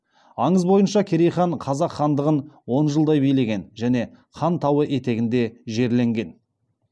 аңыз бойынша керей хан қазақ хандығын он жылдай билеген және хан тауы етегінде жерленген